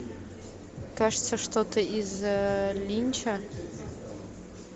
кажется что то из линча